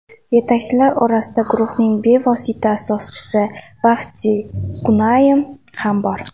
Yetakchilar orasida guruhning bevosita asoschisi Vahdi Gunaym ham bor.